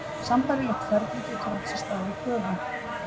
Sambærilegt ferli getur átt sér stað við köfun.